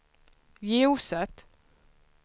ljuset